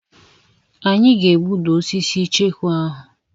Anyị ga-egbuda osisi icheku ahụ.